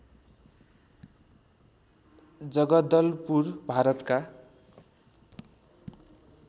जगदलपुर भारतका